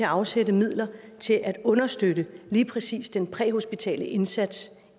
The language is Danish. afsætte midler til at understøtte lige præcis den præhospitale indsats